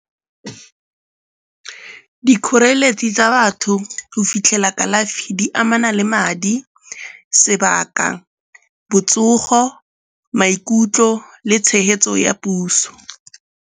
Dikgoreletsi tsa batho go fitlhela kalafi di amana le madi, sebaka, botsogo, maikutlo le tshegetso ya puso.